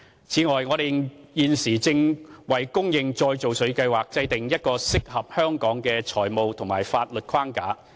此外，我們現正為供應再造水計劃制訂一個適合香港的財務和法律框架。